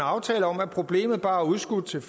aftale om at problemet bare er udskudt til